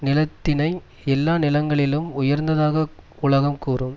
நிலத்தினை எல்லா நிலங்களிலும் உயர்ந்ததாக உலகம் கூறும்